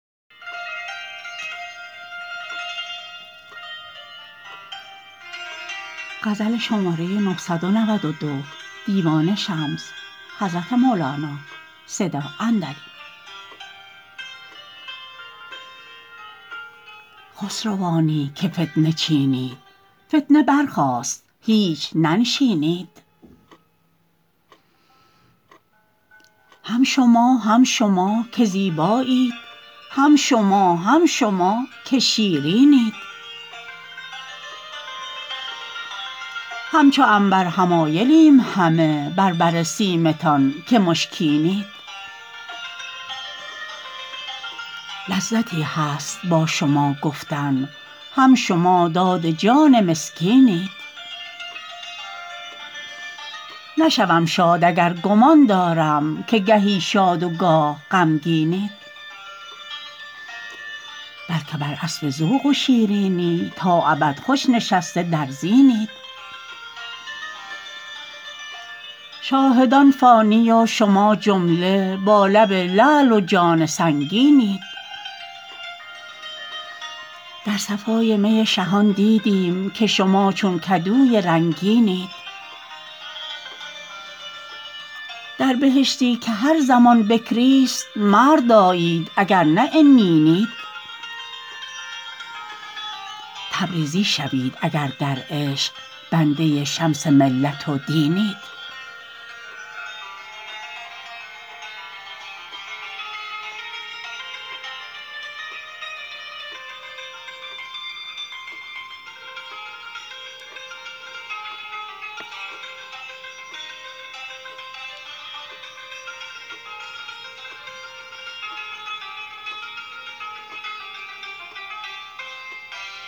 خسروانی که فتنه ای چینید فتنه برخاست هیچ ننشینید هم شما هم شما که زیبایید هم شما هم شما که شیرینید همچو عنبر حمایلیم همه بر بر سیمتان که مشکینید لذتی هست با شما گفتن هم شما داد جان مسکینید نشوم شاد اگر گمان دارم که گهی شاد و گاه غمگینید بل که بر اسب ذوق و شیرینی تا ابد خوش نشسته در زینید شاهدان فانی و شما جمله با لب لعل و جان سنگینید در صفای می شهان دیدیم که شما چون کدوی رنگینید در بهشتی که هر زمان بکریست مرد آیید اگر نه عنینید تبریزی شوید اگر در عشق بنده شمس ملت و دینید